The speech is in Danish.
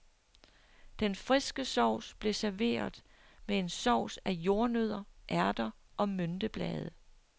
Den friske sovs blev serveret med en sovs af jordnødder, ærter og mynteblade.